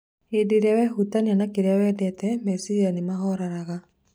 Hĩndĩ ĩrĩa wehutania na kĩrĩa wendete, meciria nĩ mahoreraga.